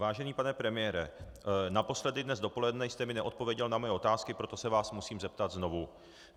Vážený pane premiére, naposledy dnes dopoledne jste mi neodpověděl na mé otázky, proto se vás musím zeptat znovu.